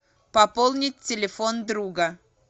пополнить телефон друга